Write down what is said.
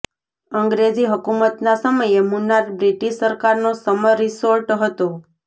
અંગ્રેજી હુકુમત ના સમયે મુન્નાર બ્રિટિશ સરકારનો સમર રિસોર્ટ હતો